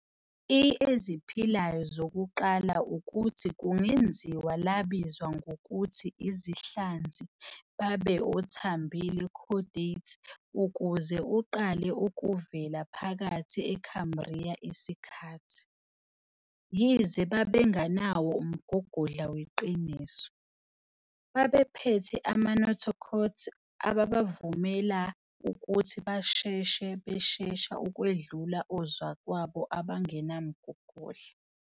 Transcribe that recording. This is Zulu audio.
I eziphilayo zokuqala ukuthi kungenziwa labizwa ngokuthi izinhlanzi babe othambile chordates ukuthi uqala ukuvela phakathi eCambria isikhathi. Yize babengenawo umgogodla weqiniso, babephethe ama- notochords ababavumela ukuthi basheshe beshesha ukwedlula ozakwabo abangenamgogodla.